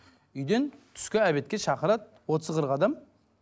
үйден түскі обедке шақырады отыз қырық адам